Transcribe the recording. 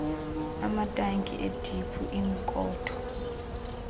amatanki ediphu iikhonto